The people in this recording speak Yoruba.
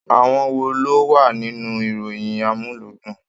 Àwọn wò ló wà nínú ìròyìn amuludun?